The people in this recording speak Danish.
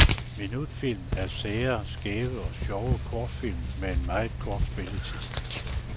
Minutfilm er sære, skæve og sjove kortfilm med en meget kort spilletid.